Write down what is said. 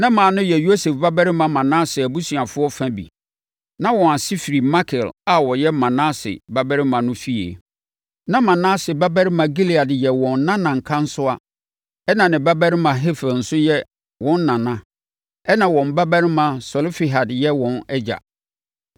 Na mmaa no yɛ Yosef babarima Manase abusuafoɔ fa bi. Na wɔn ase firi Makir a ɔyɛ Manase babarima no fie. Na Manase babarima Gilead yɛ wɔn nana nkansowa ɛnna ne babarima Hefer nso yɛ wɔn nana ɛnna wɔn babarima Selofehad yɛ wɔn agya.